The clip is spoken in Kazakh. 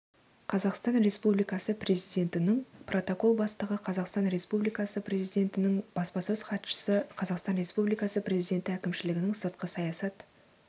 қазақстан республикасы президентінің протокол бастығы қазақстан республикасы президентінің баспасөз хатшысы қазақстан республикасы президенті әкімшілігінің сыртқы саясат